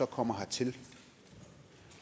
kommer hertil og